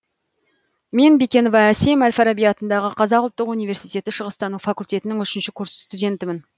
мен бекенова асем әл фараби атындағы қазақ ұлттық университеті шығыстану факультетінің үшінші курс стундетімін